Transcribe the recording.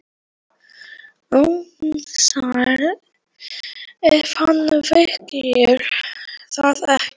Það var tiltölulega hlýtt og logn í Reykjavík.